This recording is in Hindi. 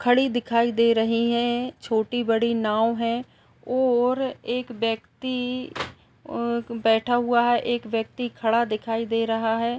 खड़ी दिखाई दे रही है छोटी बड़ी नाव है और एक व्यक्ति बैठा हुआ है। एक व्यक्ति खड़ा हुआ दिखाई दे रहा है।